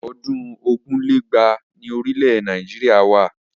Ọdún ogún lé lẹ́gbàá ni orílẹ̀ Nàìjíríà wà.